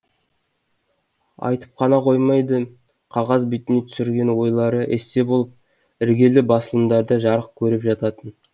айтып қана қоймайды қағаз бетіне түсірген ойлары эссе болып іргелі басылымдарда жарық көріп жататын